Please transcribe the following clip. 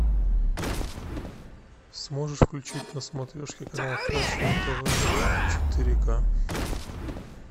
сможешь включить на смотрешке канал фэшн тв четыре ка